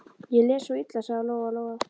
Ég les svo illa, sagði Lóa Lóa.